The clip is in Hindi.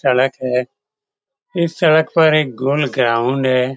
सड़क है इस सड़क पर एक गोल ग्राउंड है ।